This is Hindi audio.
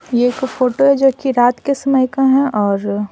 यह एक फोटो है जो कि रात के समय का है और --